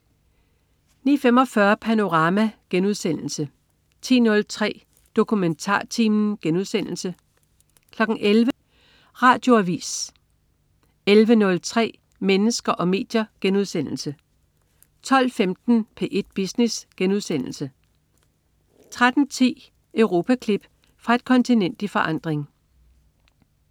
09.45 Panorama* 10.03 DokumentarTimen* 11.00 Radioavis 11.03 Mennesker og medier* 12.15 P1 Business* 13.10 Europaklip. Fra et kontinent i forandring